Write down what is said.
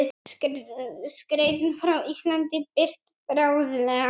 Skeytin frá Íslandi birt bráðlega